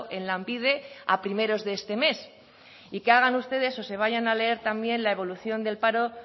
en lanbide a primeros de este mes y que hagan ustedes o se vayan a leer también la evolución del paro